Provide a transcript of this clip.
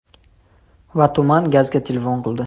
Va tuman gazga telefon qildi.